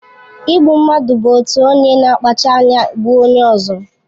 Igbu mmadụ bụ otu onye na-akpacha anya gbuo onye ọzọ.